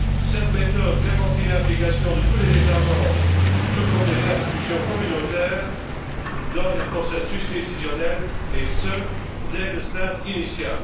Cette méthode garantit une implication de tous les États membres, tout comme des institutions communautaires, dans les processus décisionnels, et ce dès le stade initial.